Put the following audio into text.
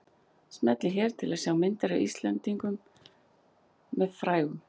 Smellið hér til að sjá myndir af Íslendingum með frægum